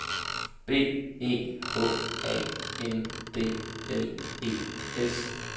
B E H A N D L E S